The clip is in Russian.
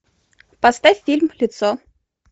поставь фильм лицо